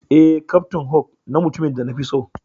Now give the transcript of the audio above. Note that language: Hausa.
Eh, captain hook na mutumin da na fi so.